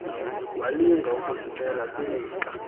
walinga ukuzimela kwilixa